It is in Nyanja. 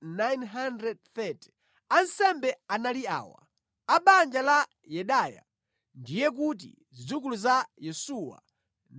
Ansembe anali awa: A banja la Yedaya (ndiye kuti zidzukulu za Yesuwa) 973